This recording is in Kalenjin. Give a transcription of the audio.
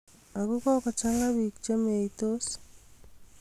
Ago kookochang'aa piik chemeeiytoos